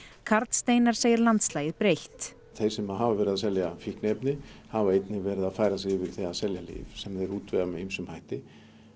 karl Steinar segir landslagið breytt þeir sem að hafa verið að selja fíkniefni hafa einnig verið að færa sig yfir í að selja lyf sem þeir útvega með ýmsum hætti